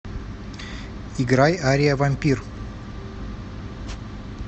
играй ария вампир